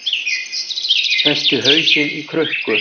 Festi hausinn í krukku